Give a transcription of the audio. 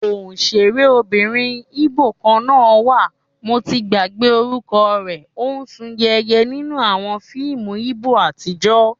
Ọ̀sẹ̀rébìnrin Íbò kan náà wà, mo ti gbàgbé orúkọ rẹ, ó sún yéye nínú àwọn fíìmù Íbò àtijọ́